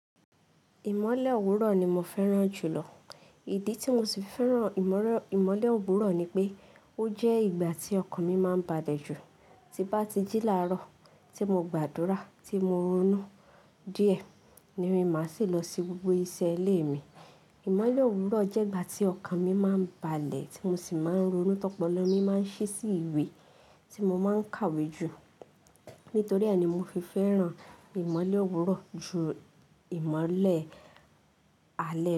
Ìmọ̀lẹ̀ òwúrọ̀ ni mo fẹ́ràn jù lọ. Ìdí tí mo sì fẹ́ràn ìmọ̀lẹ̀ òwúrọ̀ ni pé ó jẹ́ ìgbà tí ọkàn mi máa ń balẹ̀ jù. Ti bá ti jí làárọ̀, tí mo gba àdúrà, tí mo ronú díẹ̀, ni mí máa sì lọ se gbogbo iṣẹ́ ilé mi. Ìmọ̀lẹ̀ òwúrọ̀ jẹ́ ìgbà tí ọkàn mi máa ń balẹ̀, tí mo sì máa ń ronú tọ́pọ̀lọ, mi máa ń ṣí sí ìwé tí mo máa ń kàwé jù. Nítorí e ní mo fi fẹ́ràn ìmọ̀lẹ̀ òwúrọ̀ ju ìmọ̀lẹ̀ alẹ́ lọ.